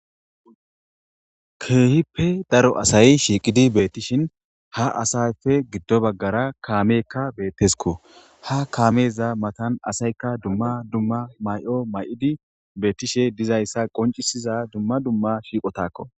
Keehippe daro asayi shiiqidi beettishin ha asayfe giddo baggara kaamekka beettesiko ha kaameza matan asaykka dumma dumma may7o may7idi beettishe dizayssa qoncisiza dumma dumma shiiqotakko